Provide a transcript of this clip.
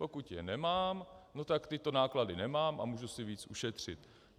Pokud je nemám, no, tak tyto náklady nemám a mohu si víc ušetřit.